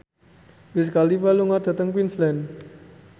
Wiz Khalifa lunga dhateng Queensland